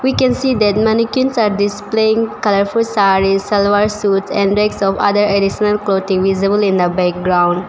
We can see that mannequins are displaying colorful sarees salwar suits and decks of other additional clothing visible in the background.